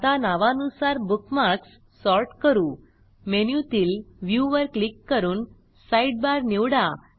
आता नावानुसार bookmarks sort करू मेनू तील व्ह्यू वर क्लिक करून साइडबार निवडा